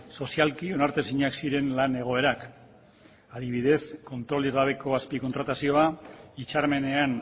sozialki onartezinak ziren lan egoerak adibidez kontrolik gabeko azpi kontratazioa hitzarmenean